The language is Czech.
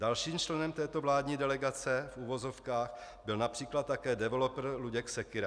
Dalším členem této vládní delegace v uvozovkách byl například také developer Luděk Sekyra.